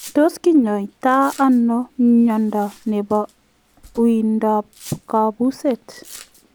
Tos kinyaitaa anoo miondoo nepoo uindoop kapuseet ?